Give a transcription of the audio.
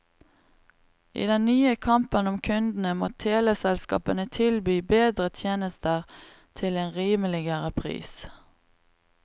I den nye kampen om kundene må teleselskapene tilby bedre tjenester til en rimeligere pris.